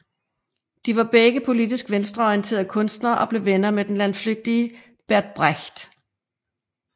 De var begge politisk venstreorienterede kunstnere og blev venner med den landflygtige Bert Brecht